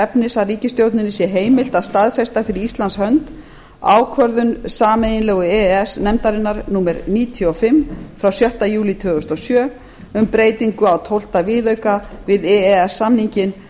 efnis að ríkisstjórninni sé heimilt að staðfesta fyrir íslands hönd ákvörðun sameiginlegu e e s nefndarinnar númer níutíu og fimm frá sjötta júlí tvö þúsund og sjö um breytingu á tólf viðauka við